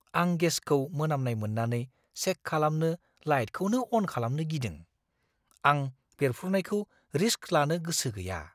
आं गेसखौ मोनामनाय मोन्नानै चेक खालामनो लाइटखौनो अन खालामनो गिदों। आं बेरफ्रुनायखौ रिस्क लानो गोसो गैया।